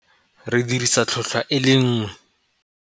Re dirisa tlhotlhwa e le nngwe.